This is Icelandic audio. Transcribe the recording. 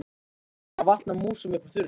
Ég var farin að vatna músum upp úr þurru!